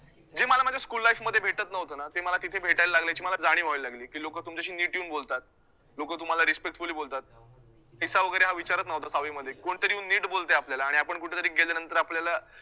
जे मला माझ्या school life मध्ये भेटतं नव्हतं ना ते मला तिथे भेटायला लागलं याची मला जाणीव व्हायला लागली की लोकं तुमच्याशी नीट येऊन बोलतात, लोकं तुम्हाला respectfully बोलतात. वैगरे हा विचारतं नव्हतं सहावीमध्ये कोणतरी येऊन नीट बोलतयं आपल्याला आणि कुठेतरी गेल्यानंतर आपल्याला